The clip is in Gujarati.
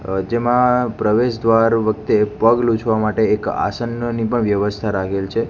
પ્રવેશ દ્વાર વખતે પગ લૂછવા માટે એક આસનની પણ વ્યવસ્થા રાખેલ છે.